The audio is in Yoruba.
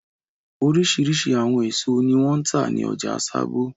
Oríṣiríṣi àwọn èso ni wọ́n ń tà ní ọjà Sábó.